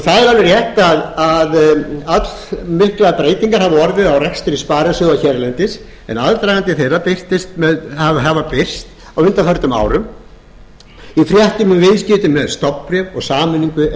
það er alveg rétt að allmiklar breytingar hafa orðið á rekstri sparisjóða hérlendis en aðdragandi þeirra hefur birst á undanförnum í fréttum um viðskipti með stofnbréf og sameiningu